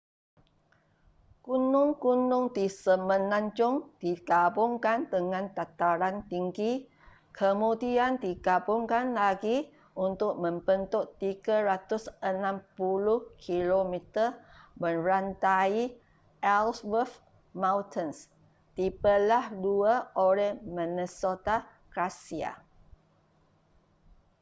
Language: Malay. gunung-gunung di semenanjung digabungkan dengan dataran tinggi kemudian digabungkan lagi untuk membentuk 360 km merantai ellsworth mountains dibelah dua oleh minnesota glacier